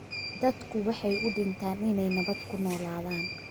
Dadku waxay u dhintaan inay nabad ku noolaadaan